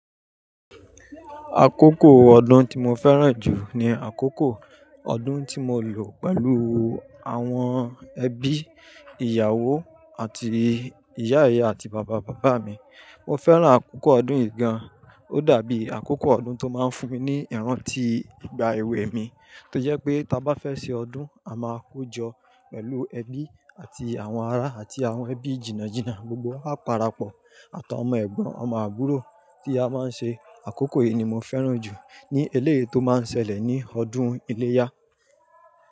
Àkókò ọdún tí mo fẹ́ràn jù ni àkókò ọdún tí mo lò pẹ̀lú àwọn ẹbí, ìyàwó àti ìyá-ìyá àti bàbá-bàbá mi. Mo fẹ́ràn àkókò ọdún yìí gan, ó dàbí àkókò ọdún tó máa ń fún mi ní ìrántí ìgbà èwe mi tó jẹ́ pé bá fẹ́ ṣe ọdún a máa kojọ pẹ̀lú ẹbí àti àwọn ará àti àwọn ẹbí jìna jìna, gbogbo a para pọ̀ àtọ̀ ọmọ ẹ̀gbọ́n ọmọ àbúrò tí a máa ń ṣe. Àkókò yìí ni mo fẹ́ràn jù ní eléyè tó máa ń ṣẹlẹ̀ ní ọdún iléyá.